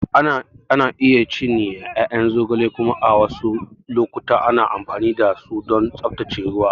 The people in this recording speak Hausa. Ana iya cinye ƴaƴan zogale kuma a wasu lokuta ana amfani da su don tsaftace ruwa.